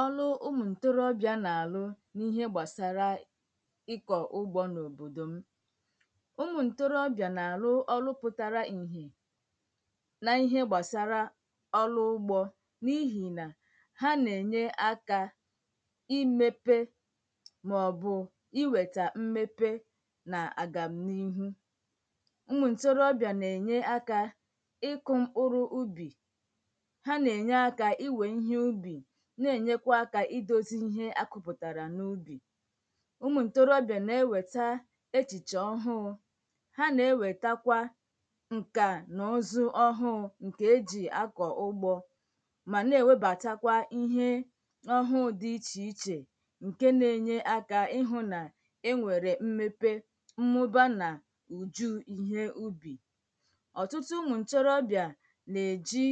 ọrụ ụmụ̀ ntorobịa na-àrụ n’ihe gbàsara ịkọ̀ ugbȯ n’òbòdò m ụmụ̀ ntorobịà n’àrụ ọrụ pụtara ìhè n’ihe gbàsara ọrụ ugbȯ n’ihì nà ha nà-ènye aka imepe màọbụ̀ iwèta mmepe nà àgàm n’ihu na-enyekwa aka idozi ihe akụpụtara n’ubi ụmụ ntorobịa na-eweta echiche ọhụụ ha na-ewetakwa ǹkà na ozu ọhụụ ǹkè e ji akọ ugbo ma na-ewebàtakwa ihe ọhụụ dị iche iche ǹke na-enye aka ịhụ na enwere mmepe mmụba na uju ihe ubi ọtụtụ ụmụ ntorobịa na-eji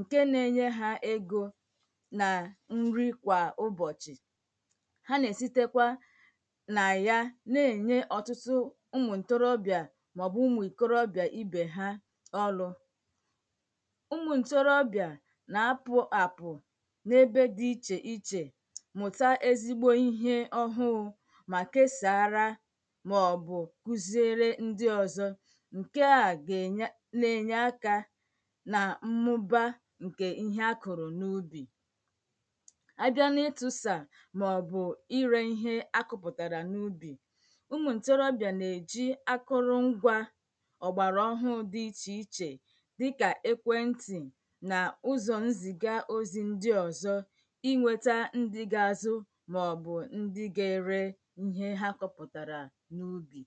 ǹke na-enye ha ego nà nri kwà ụbọ̀chị̀ ha nà-èsitekwa nà ya na-ènye ọ̀tụtụ ụmụ̀ ǹtorobị̀ȧ màọ̀bụ̀ ụmụ̀ ìkọrọbịà ibè ha ọlụ̇ ụmụ̀ ǹtorobịà nà-apụ àpụ̀ n’ebe dị ichè ichè mụ̀ta ezigbo ihe ọhụụ mà keesàara màọ̀bụ̀ kuziere ndị ọ̀zọ ǹke à gà-ènye na-ènye akȧ nkè ihe akụ̀rụ̀ n’ubì a bịa n’ịtụ̀sà màọ̀bụ̀ irė ihe akụ̀pụ̀tàrà n’ubì ụmụ ǹtorobịà nà-èji akụrụ ngwȧ ọ̀gbàrà ọhụ dị̇ ichè ichè dịkà ekwentị̀ nà ụzọ̀ nzìga ozi̇ ndi ọ̀zọ inwetà ndi ga-azụ màọ̀bụ̀ ndi ga-ere ihe ha kọpụ̀tàrà n’ubì